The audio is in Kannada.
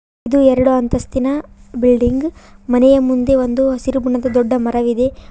ಇದು ಎರಡು ಅಂತಸ್ತಿನ ಬಿಲ್ಡಿಂಗ್ ಮನೆಯ ಮುಂದೆ ಒಂದು ಹಸಿರು ಬಣ್ಣದ ದೊಡ್ಡ ಮರವಿದೆ.